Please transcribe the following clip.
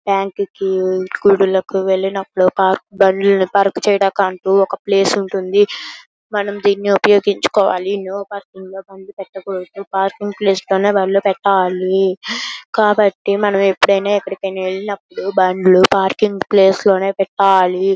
Bank కి గుడిలకు వెళ్ళినప్పుడు పార్క్ బండు లను పార్క్ చేయడానికంటూ ఒక ప్లేస్ ఉంటుది. మనం దీన్ని ఉపయోగించుకోవాలి. నో పార్కింగ్ లో బండ్లు పెట్టకూడదు. పార్కింగ్ ప్లేస్ లోనే బండ్లు పెట్టాలి. కాబట్టి మనం ఎప్పుడైనా ఎక్కడికైనా వెళ్ళినప్పుడు బండ్లు పార్కింగ్ ప్లేస్ లోనే పెట్టాలి.